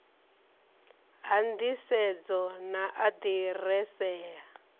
ha nḓisedzo na aḓirese ya